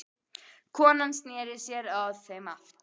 Konan sneri sér að þeim aftur.